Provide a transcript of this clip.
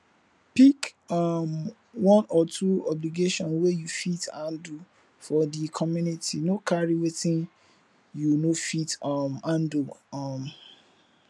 pick um one or two obligation wey you fit handle for di community no carry wetin you no fit um handle um